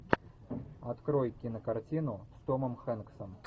открой кинокартину с томом хэнксом